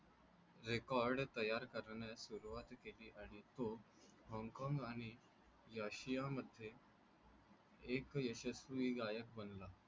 Record तयार करण्यास सुरुवात केली आणि तो होन्गकॉंग आणि याशियामध्ये एक यशस्वी गायक बनला.